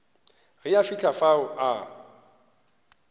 ge a fihla fao a